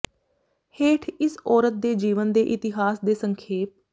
ਹੇਠ ਇਸ ਔਰਤ ਦੇ ਜੀਵਨ ਦੇ ਇਤਿਹਾਸ ਦੇ ਸੰਖੇਪ